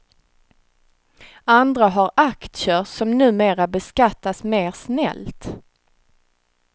Andra har aktier som numera beskattas mer snällt.